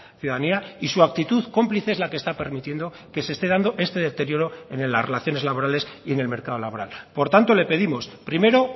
ciudadanía y su actitud cómplice es la que está permitiendo que se esté dando este deterioro en las relaciones laborales y en el mercado laboral por tanto le pedimos primero